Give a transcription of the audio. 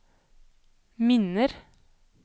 minner